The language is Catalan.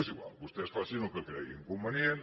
és igual vostès facin el que creguin convenient